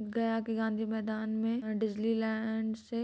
गया के गांधी मैदान में डिज्नीलैंड से